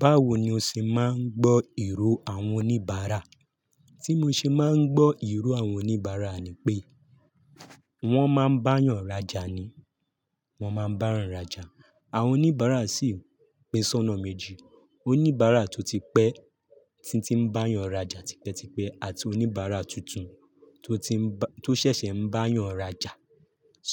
Báwo ni o ṣe máa ń gbọ́ èrò àwọn oníbàárà? Tí mo ṣe máa ń gbọ́ èrò àwọn oníbàárà ni pé wọ́n máa ń báyan rajà ni, wọ́n máa ń báyan rajà. Àwọn oníbàárà sì pín soná méjì. Oníbàárà tó ti pẹ́, tí ó ti ń báyan rajà tipẹ́tipẹ́ àti oníbàárà tuntun tó ti ń ba-- tó ṣẹ̀ṣẹ̀ ń báyan rajà.